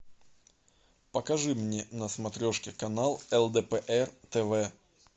покажи мне на смотрешки канал лдпр тв